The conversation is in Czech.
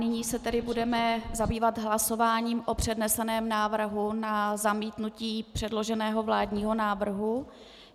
Nyní se tedy budeme zabývat hlasováním o předneseném návrhu na zamítnutí předloženého vládního návrhu.